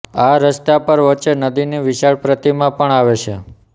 આ રસ્તા પર વચ્ચે નંદીની વિશાળ પ્રતિમા પણ આવે છે